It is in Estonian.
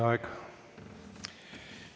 Teie aeg!